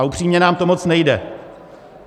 A upřímně, moc nám to nejde.